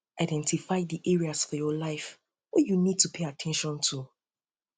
identify di areas of your life wey you need um to pay at ten tion to